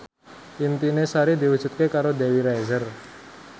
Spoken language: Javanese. impine Sari diwujudke karo Dewi Rezer